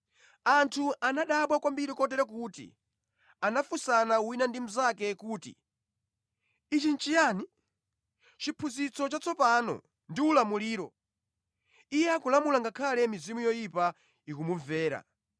Anthu anadabwa kwambiri kotero kuti anafunsana wina ndi mnzake kuti, “Ichi nʼchiyani? Chiphunzitso chatsopano ndi ulamuliro! Iye akulamula, ngakhale mizimu yoyipa ikumumvera.”